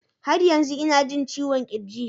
Har yanzu ina jin ciwon kirji